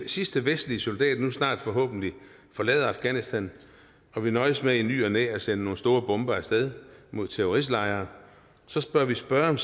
sidste vestlige soldat nu snart forhåbentlig forlader afghanistan og vi nøjes med i ny og næ at sende nogle store bomber af sted mod terroristlejre bør vi spørge